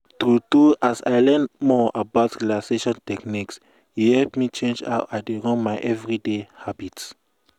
true true as i learn more about relaxation techniques e help me change how i dey run my everyday habit.